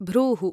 भ्रूः